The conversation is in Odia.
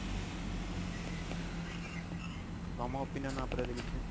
ତମ opinion ୟା ଉପରେ କିଛି